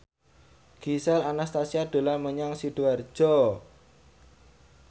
Gisel Anastasia dolan menyang Sidoarjo